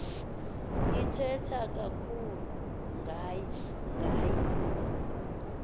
ithetha kakhulu ngaye